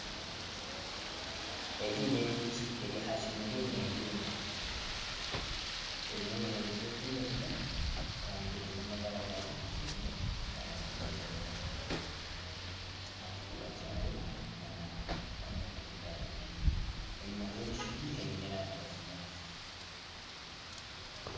Egi n'enjoki eri aha kimumri neehiima eine obuhembe bw'okwiragura kandi eine amabara ga kinekye nana ag'okwiragura aha kifuba kyayo nana omu maguru gaayo enyima hariyo ebishungi ebiine erangi ya kinyaatsi